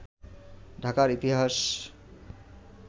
ঢাকার ইতিহাস